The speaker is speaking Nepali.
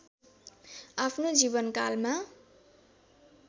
आफ्नो जीवनकालमा